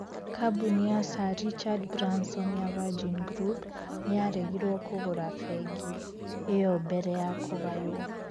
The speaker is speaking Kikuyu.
Kambuni ya Sir Richard Branson ya Virgin Group nĩ yaregirwo kũgũra bengi ĩyo mbere ya kũgaywo.